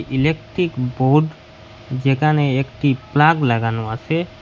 Electric board যেখানে একটি plug লাগানো আসে।